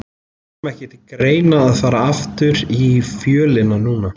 Kom ekki til greina að fara aftur í Fjölni núna?